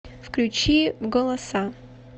включи голоса